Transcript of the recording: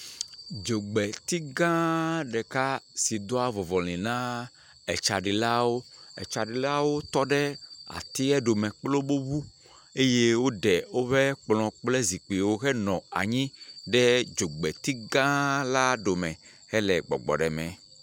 Dzogbeti gã ɖeka si doa vɔvɔlɛ̃ na tsaɖilawo, tsaɖilawo tɔ ɖe atia ɖome kple woƒe ŋu eye woɖe woƒe kplɔ̃ kple zikpuiwo henɔ anyi ɖe dzogbeti gã la ɖome hele gbɔgbɔm ɖe me.